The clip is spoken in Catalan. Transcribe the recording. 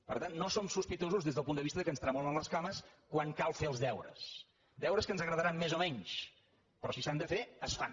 per tant no som sospitosos des del punt de vista que ens tremolin les cames quan cal fer els deures deures que ens agradaran més o menys però si s’han de fer es fan